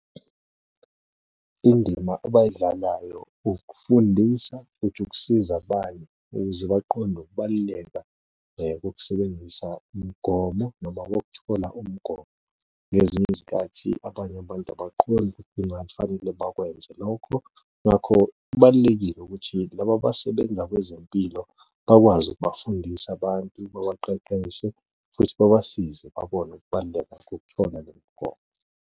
Indima abayidlalayo ukufundisa futhi ukusiza abanye ukuze baqonde ukubaluleka kokusebenzisa umgomo noma wokuthola umgomo. Ngezinye izikhathi abanye abantu abaqondi ukuthi kungafanele bakwenze lokho. Ngakho kubalulekile ukuthi laba abasebenza kwezempilo bakwazi ukubafundisa abantu, babaqeqeshe, futhi babasize babone ukubaluleka ngokuthola le migomo.